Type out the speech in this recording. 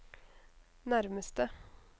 nærmeste